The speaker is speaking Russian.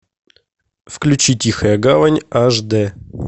включи тихая гавань аш дэ